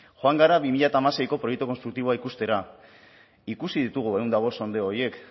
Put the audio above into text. joan gara bi mila hamaseiko proiektu konstruktiboa ikustera ikusi ditugu ehun eta bost sondeo horiek